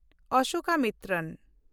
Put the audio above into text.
ᱚᱥᱳᱠᱟᱢᱤᱛᱨᱚᱱ